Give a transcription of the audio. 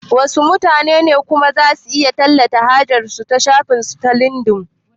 Wasu mutanen kuma zasu iya tallata hajar su a shafin su na lindin